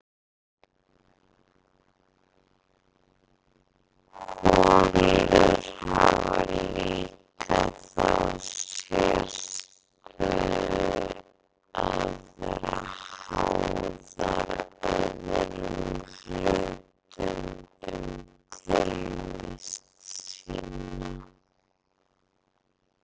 holur hafa líka þá sérstöðu að vera háðar öðrum hlutum um tilvist sína